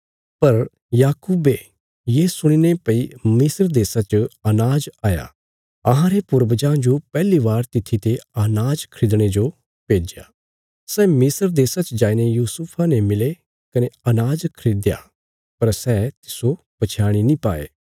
पर याकूबे ये सुणीने भई मिस्र देशा च अनाज हया अहांरे पूर्वजां जो पहली बार तित्थी ते अनाज खरीदणे जो भेज्या सै मिस्र देशा च जाईने यूसुफा ने मिले कने अनाज खरीदयापर सै तिस्सो पछयाणी नीं पाये